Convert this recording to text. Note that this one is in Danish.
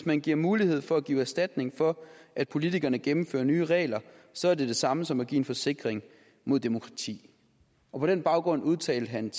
man giver mulighed for at give erstatning for at politikerne gennemfører nye regler så er det det samme som at give en forsikring mod demokrati på den baggrund udtalte han